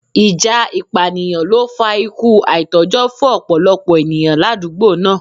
Ìjà ìpànìyàn ló fa ikú àìtójó fún ọ̀pọ̀lọpọ̀ ènìyàn l'àdúgbò náà.